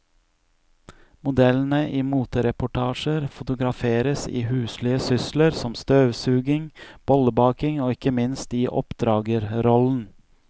Modellene i motereportasjer fotograferes i huslige sysler som støvsuging, bollebaking og ikke minst i oppdragerrollen.